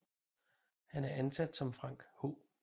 Han er ansat som Frank H